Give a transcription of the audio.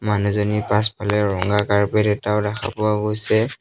মানুহজনীৰ পাছফালে ৰঙা কাৰ্পেট এটাও দেখা পোৱা গৈছে।